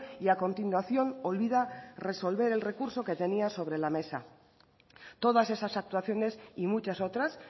y a continuación olvida resolver el recurso que tenía sobre la mesa todas esas actuaciones y muchas otras